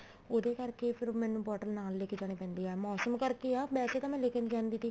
ਉਹਦੇ ਕਰਕੇ ਫ਼ੇਰ ਮੈਨੂੰ bottle ਨਾਲ ਲੇਕੇ ਜਾਣੀ ਪੈਂਦੀ ਹੈ ਮੋਸਮ ਕਰਕੇ ਆ ਵੈਸੇ ਤਾਂ ਮੈਂ ਲੈਕੇ ਨੀ ਜਾਂਦੀ ਤੀ